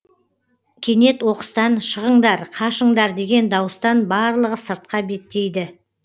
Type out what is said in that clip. кенет оқыстан шығыңдар қашыңдар деген дауыстан барлығы сыртқа беттейді